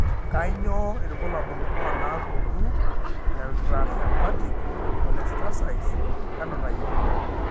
Kainyio irbulabul onaapuku eIntrahepatic cholestasise enutai?